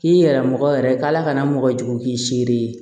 K'i yɛrɛ mɔgɔ yɛrɛ ka na mɔgɔ jugu k'i sere ye